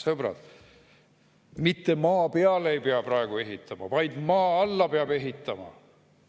Sõbrad, mitte maa peale ei pea praegu ehitama, vaid maa alla peab ehitama.